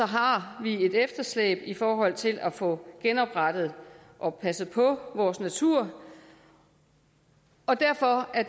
har har vi et efterslæb i forhold til at få genoprettet og passet på vores natur og derfor er